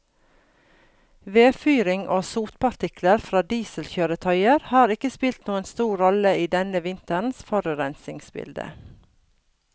Vedfyring og sotpartikler fra dieselkjøretøyer har ikke spilt noen stor rolle i denne vinterens forurensningsbilde.